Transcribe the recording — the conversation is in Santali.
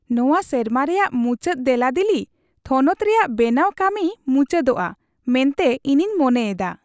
ᱱᱚᱣᱟ ᱥᱮᱨᱢᱟ ᱨᱮᱭᱟᱜ ᱢᱩᱪᱟᱹᱫ ᱫᱮᱞᱟᱫᱤᱞᱤ ᱛᱷᱚᱱᱚᱛ ᱨᱮᱭᱟᱜ ᱵᱮᱱᱟᱣ ᱠᱟᱹᱢᱤ ᱢᱩᱪᱟᱹᱫᱚᱜᱼᱟ ᱢᱮᱱᱛᱮ ᱤᱧᱤᱧ ᱢᱚᱱᱮᱭᱮᱫᱟ ᱾